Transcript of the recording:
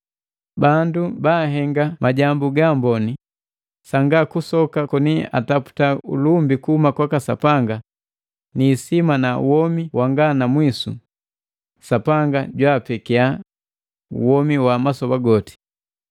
Bandu bahenga majambu gaamboni sangakusoka koni ataputa ulumbi kuhuma kwaka Sapanga ni isima na womi wanga na mwisu, Sapanga jwaapekia womi wa masoba goti.